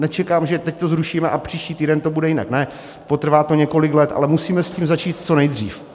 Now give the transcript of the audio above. Nečekám, že teď to zrušíme a příští týden to bude jinak, ne, potrvá to několik let, ale musíme s tím začít co nejdřív.